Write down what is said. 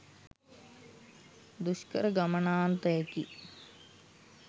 දුෂ්කර ගමනාන්තයකි.